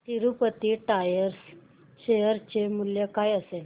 Tirupati tyres share चे मूल्य काय असेल